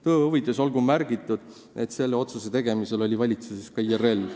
Tõe huvides olgu märgitud, et selle otsuse tegemise ajal oli valitsuses ka IRL.